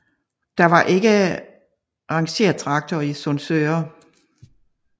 Der var ikke rangertraktor i Sundsøre